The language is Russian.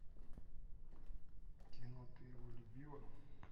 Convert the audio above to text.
кино ты его любила